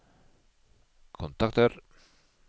kontakter